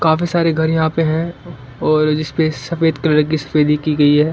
काफी सारे घर यहां पर हैं और इसपे सफेद कलर की सफेदी की गई है।